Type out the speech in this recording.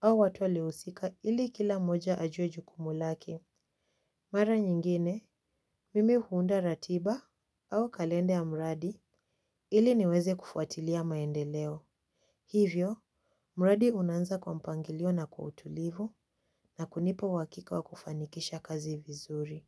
au watu waliohusika ili kila mmoja ajue jukumu lake. Mara nyingine, mimi huunda ratiba. Au kalenda ya mradi ili niweze kufuatilia maendeleo. Hivyo, mradi unaanza kwa mpangilio na kwa utulivu na kunipa uhakika wa kufanikisha kazi vizuri.